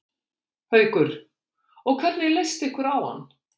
Haukur: Og hvernig leist ykkur á hann?